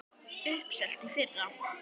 Uppselt í fyrra!